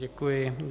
Děkuji.